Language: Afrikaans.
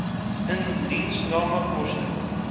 indiensname koste